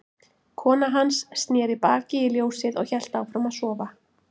Kona hans sneri baki í ljósið og hélt áfram að sofa.